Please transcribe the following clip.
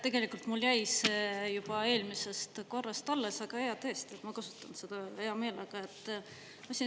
Tegelikult mul jäi eelmisest korrast alles, aga jaa, tõesti, ma kasutan seda hea meelega.